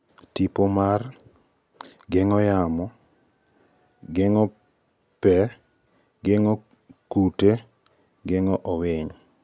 tipo mar 0.6-3.0 90-25, geng'o yamo 1.8-7.0 70-30, geng'o pee 2.5-4.0 25-10, geng'o kute 0.2-3.1, 20-10, geng'owiny 30.0-40.15-5